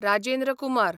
Rajendra Kumar